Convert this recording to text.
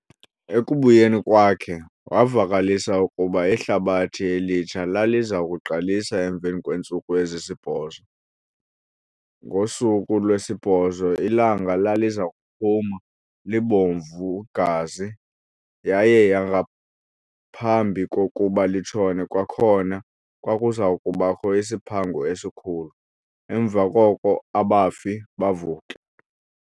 Ekubuyeni kwakhe, wavakalisa ukuba iHlabathi Elitsha laliza kuqalisa emveni kweentsuku ezisibhozo. Ngosuku lwesibhozo ilanga laliza kuphuma, libomvu-gazi, yaye ngaphambi kokuba litshone kwakhona, kwakuza kubakho isiphango esikhulu, emva koko "abafi bavuke".